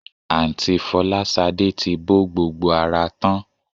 Àǹtí Fọláṣadé ti bọ́ gbogbo ara tán